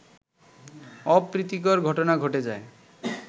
অপ্রীতিকর ঘটনা ঘটে যায়